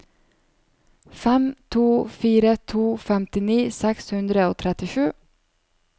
fem to fire to femtini seks hundre og trettisju